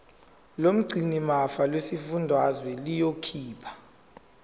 lomgcinimafa lesifundazwe liyokhipha